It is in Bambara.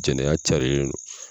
Jɛnɛya carilen do